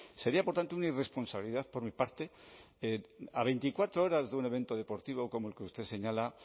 sería por tanto una irresponsabilidad por mi parte a veinticuatro horas de un evento deportivo como el que usted señala